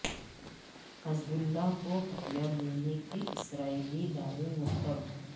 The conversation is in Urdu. حزب اللہ کو ہتھیار دینے کے اسرائیلی دعوے مسترد